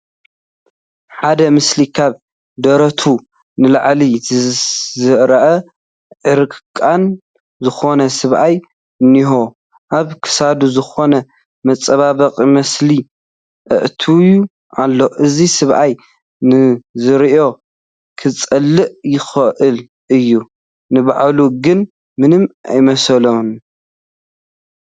ሓደ ምስሉ ካብ ደረቱ ንላዕሊ ዝርአ ዕርቃኑ ዝኾነ ሰብኣይ እኔሆ፡፡ ኣብ ክሳዱ ዝኾነ መፀባበቒ መሳሊ ኣእትዩ ኣሎ፡፡ እዚ ሰብኣይ ንዝርኢ ከፅልእ ይኽእል እዩ፡፡ ንባዕሉ ግን ምንም ኣይመስሎን፡፡